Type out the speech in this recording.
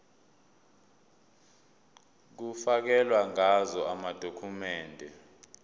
kufakelwe ngazo amadokhumende